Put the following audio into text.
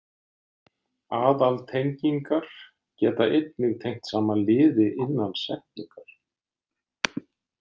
Aðaltengingar geta einnig tengt saman liði innan setningar.